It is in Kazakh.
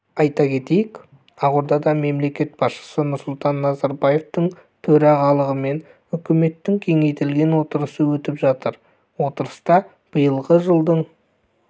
айта кетейік ақордада мемлекет басшысы нұрсұлтан назарбаевтың төрағалығымен үкіметтің кеңейтілген отырысы өтіп жатыр отырыста биылғы жылдың